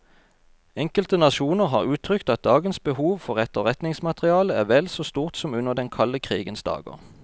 Enkelte nasjoner har uttrykt at dagens behov for etterretningsmateriale er vel så stort som under den kalde krigens dager.